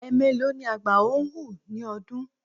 Ẹ̀ẹmélòó ni àgbào ń hù ní ọdún?